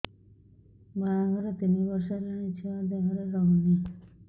ବାହାଘର ତିନି ବର୍ଷ ହେଲାଣି ଛୁଆ ଦେହରେ ରହୁନି